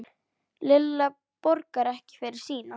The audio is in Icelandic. Lilla borgar ekki fyrir sína.